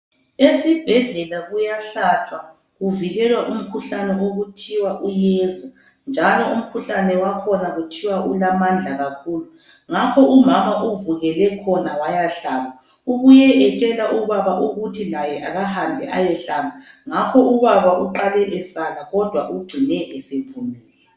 Esibhedlela kuyahlatshwa kuvikelwa umkhuhlane okuthiwa uyeza njalo umkhuhlane wakhona kuthiwa ulamandla kakhulu. Ngakho umama uvukele khona waya hlaba, ubuye etshela ubaba ukuthi laye akahambe eyehlaba ngakho ubaba uqale esala kodwa ugcine esevumile.